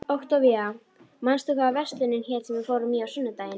Októvía, manstu hvað verslunin hét sem við fórum í á sunnudaginn?